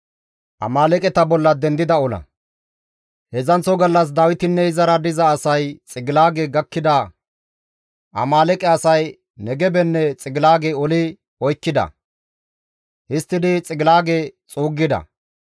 Heedzdzanththo gallas Dawitinne izara diza asay Xiqilaage gakkida; Amaaleeqe asay Negebenne Xigilaage oli oykkida; histtidi Xiqilaage xuuggida.